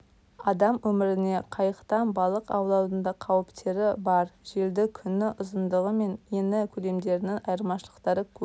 адам өміріне қайықтан балық аулаудың да қауіптері бар желді күні ұзындығы мен еңі көлемдерінің айырмақшылықтары көп